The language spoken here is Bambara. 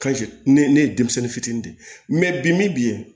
ne ne ye denmisɛnnin fitinin de mɛ bi min bɛ yen